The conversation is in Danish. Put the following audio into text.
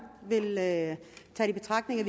vil tage i betragtning at